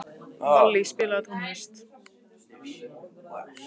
Vallý, spilaðu tónlist.